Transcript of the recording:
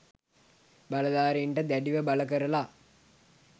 බලදාරීන්ට දැඩිව බල කරල